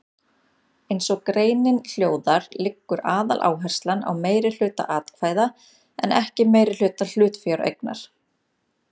Eins og greinin hljóðar liggur aðaláherslan á meirihluta atkvæða en ekki meirihluta hlutafjáreignar.